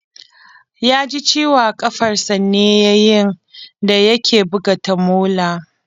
Ya ji ciwo a kafarsa ne yayin da ya ke buga tamola